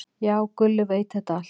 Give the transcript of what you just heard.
"""Já, Gulli veit þetta allt."""